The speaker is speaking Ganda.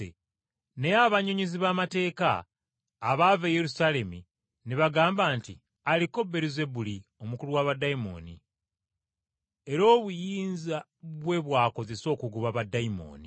Naye abannyonnyozi b’amateeka abaava e Yerusaalemi ne bagamba nti, “Aliko Beeruzebuli omukulu wa baddayimooni, era obuyinza bwe bw’akozesa okugoba baddayimooni.”